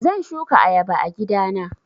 Zan shuka ayaba a gida na.